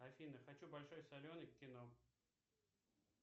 афина хочу большой соленый кино